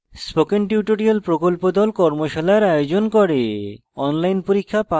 spoken tutorial প্রকল্প the কর্মশালার আয়োজন করে